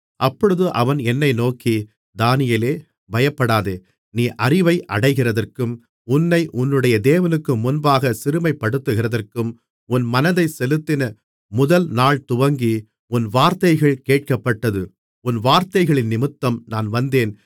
அப்பொழுது அவன் என்னை நோக்கி தானியேலே பயப்படாதே நீ அறிவை அடைகிறதற்கும் உன்னை உன்னுடைய தேவனுக்கு முன்பாகச் சிறுமைப்படுத்துகிறதற்கும் உன் மனதைச் செலுத்தின முதல்நாள் துவங்கி உன் வார்த்தைகள் கேட்கப்பட்டது உன் வார்த்தைகளினிமித்தம் நான் வந்தேன்